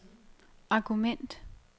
argument